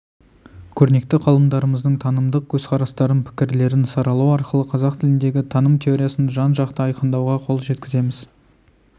көрнекті ғалымдарымыздың танымдық көзқарастарын пікірлерін саралау арқылы қазақ тіліндегі таным теориясын жан-жақты айқындауға қол жеткіземіз